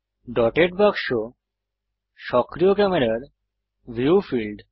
dotted বাক্স সক্রিয় ক্যামেরার ভিউ ফীল্ড